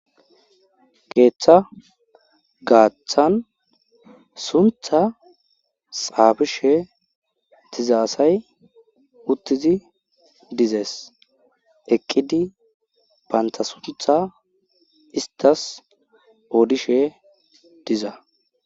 keeththa gaaththan suntha saabishe tizaassay uttizi dizees eqqidi baynta suntha istas oodishe diza